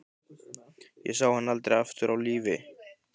Ég sá hann aldrei aftur á lífi.